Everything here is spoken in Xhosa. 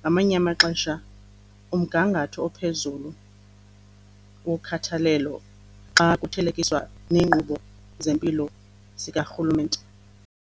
ngamanye amaxesha umgangatho ophezulu wokhathalelo xa kuthelekiswa neenkqubo zempilo zikarhulumenete.